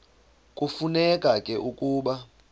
kufuneka ke ukuba